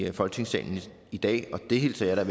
i folketingssalen i dag og det hilser jeg